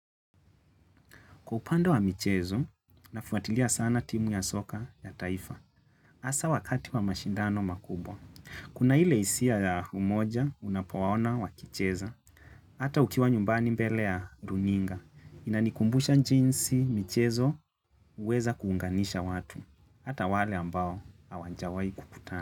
Kwa upande wa michezo, nafuatilia sana timu ya soka ya taifa. Asa wakati wa mashindano makubwa. Kuna ile hisia ya umoja, unapowaona wa kicheza. Hata ukiwa nyumbani mbele ya runinga. Inanikumbusha njinsi michezo, huweza kuunganisha watu. Hata wale ambao, hawanjawai kukutana.